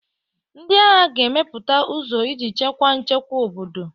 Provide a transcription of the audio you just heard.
Ndị agha ga-emepụta ụzọ iji chekwaa nchekwa obodo.